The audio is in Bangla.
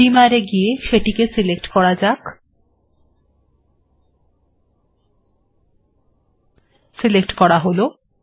বিমার্ এ গিয়ে সেটিকে সিলেক্ট করা যাক সিলেক্ট করা হল